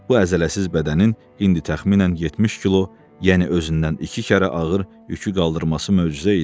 Bu əzələsiz bədənin indi təxminən 70 kilo, yəni özündən iki kərə ağır yükü qaldırması möcüzə idi.